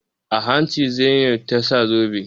A hanci Zainab na sa zobe.